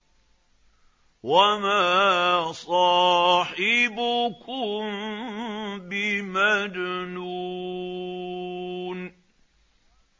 وَمَا صَاحِبُكُم بِمَجْنُونٍ